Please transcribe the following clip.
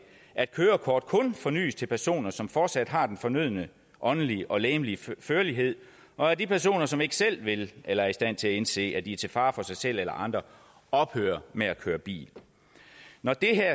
at kørekort kun fornyes til personer som fortsat har den fornødne åndelige og legemlige førlighed og at de personer som ikke selv vil eller er i stand til at indse at de er til fare for sig selv eller andre ophører med at køre bil når det her